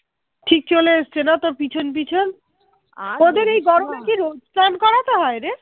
চান করাতে হয় রে